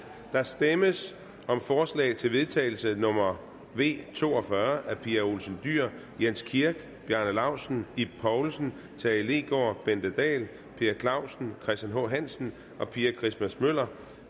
der stemmes om forslag til vedtagelse nummer v to og fyrre af pia olsen dyhr jens kirk bjarne laustsen ib poulsen tage leegaard bente dahl per clausen christian h hansen og pia christmas møller